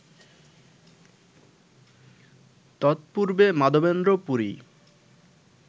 তৎপূর্ব্বে Madhavendra Puri